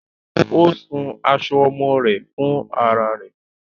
Ó ṣun aṣọ ọmọ rẹ̀ fúnrá rẹ̀